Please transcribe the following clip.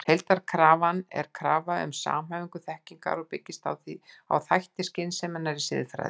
Heildarkrafan er krafa um samhæfingu þekkingar og byggist því á þætti skynseminnar í siðfræðinni.